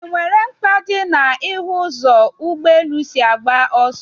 E nwere mkpa dị na ị hụ ụzọ ụgbọ elu si agba ọsọ?